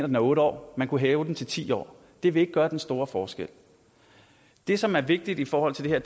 den er otte år man kunne hæve den til ti år det vil ikke gøre den store forskel det som er vigtigt i forhold til det